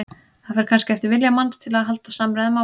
Það fer kannski eftir vilja manns til að halda samræðum áfram.